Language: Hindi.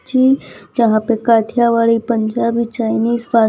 की यहां पे काठियावाड़ी पंजाबी चाइनीस पास --